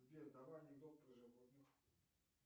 сбер давай анекдот про животных